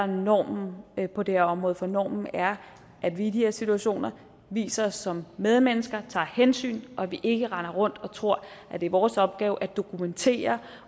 normen på det her område for normen er at vi i de her situationer viser os som medmennesker og tager hensyn og at vi ikke render rundt og tror at det er vores opgave at dokumentere